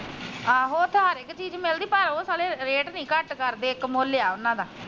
ਆਹੋ ਮਿਲਦੀ ਪਰ ਉਹ ਸਾਲੇ ਰੇਟ ਨੀ ਘੱਟ ਇੱਕ ਮੁੱਲ ਆ ਉਹਨਾ ਦਾ।